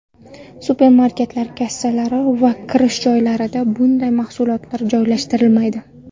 Supermarketlar kassalari va kirish joylarida bunday mahsulotlar joylashtirilmaydi.